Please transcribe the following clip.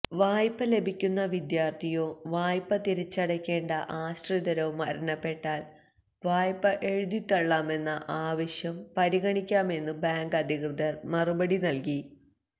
വായ്പ ലഭിക്കുന്ന വിദ്യാര്ഥിയോ വായ്പ തിരിച്ചടയ്ക്കേണ്ട ആശ്രിതരോ മരണപ്പെട്ടാല് വായ്പ എഴുതിതള്ളാമെന്ന ആവശ്യം പരിഗണിക്കാമെന്നു ബാങ്ക് അധികൃതര് മറുപടി നല്കി